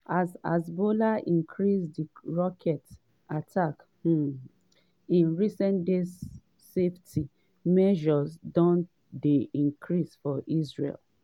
as hezbollah increase dia rocket attacks um in recent days safety measures don dey increased for israel.